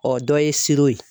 dɔ ye siro ye.